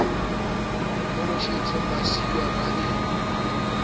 holofetseng ba siuwa ba le